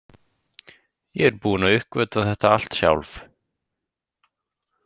Ég er búin að uppgötva þetta allt sjálf.